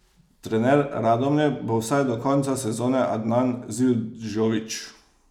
Trener Radomlje bo vsaj do konca sezone Adnan Zildžović.